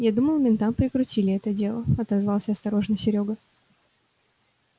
я думал ментам прикрутили это дело отозвался осторожно серёга